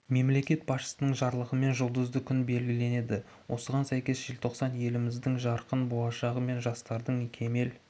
мемлекет басшысының жарлығымен жұлдызды күн белгіленді осыған сәйкес желтоқсан еліміздің жарқын болашағы мен жастардың кемел